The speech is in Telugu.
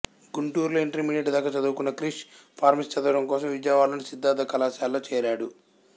గుంటూరు లో ఇంటర్మీడియట్ దాకా చదువుకున్న క్రిష్ ఫార్మసీ చదవడం కోసం విజయవాడలోని సిద్ధార్థ కళాశాలలో చేరాడు